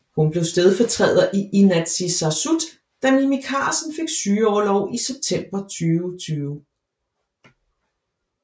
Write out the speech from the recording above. Hun blev stedfortræder i Inatsisartut da Mimi Karlsen fik sygeorlov i september 2020